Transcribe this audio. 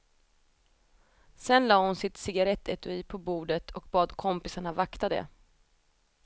Sen la hon sitt cigarrettetui på bordet och bad kompisarna vakta det.